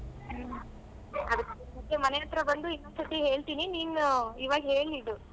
ಹ್ಮ ಅದಕ್ಕೇ ಮನೆ ಹತ್ರ ಬಂದು ಇನ್ನೊಂದ್ ಸತಿ ಹೇಳ್ತೀನಿ ನೀನ್ ಇವಾಗ್ ಹೇಳಿರು.